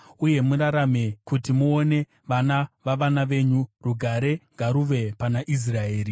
uye murarame kuti muone vana vavana venyu. Rugare ngaruve pana Israeri.